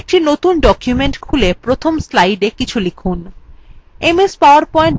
একটি নতুন document খুলে প্রথম slidea কিছু লিখুন